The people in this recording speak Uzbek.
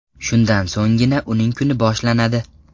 Shundan so‘nggina uning kuni boshlanadi.